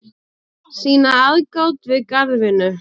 sýna aðgát við garðvinnu